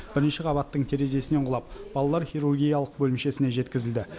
бірінші қабаттың терезесінен құлап балалар хирургиялық бөлімшесіне жеткізілді